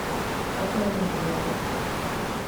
в какое время заезд